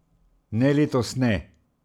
Ne, letos ne.